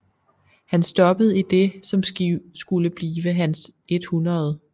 Han stoppede i det som skulle blive hans 100